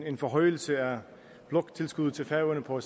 en forhøjelse af bloktilskuddet til færøerne på